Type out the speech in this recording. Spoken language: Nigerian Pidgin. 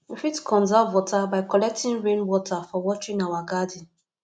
we fit conserve water by collecting rain water for watering our garden